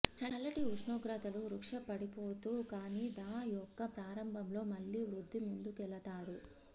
చల్లటి ఉష్ణోగ్రతలు వృక్ష పడిపోతూ కానీ థా మొక్క ప్రారంభంలో మళ్ళీ వృద్ధి ముందుకెళతాడు